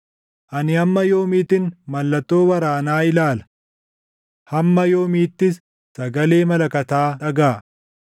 Ani hamma yoomiittin mallattoo waraanaa ilaala? Hamma yoomiittis sagalee malakataa dhagaʼa?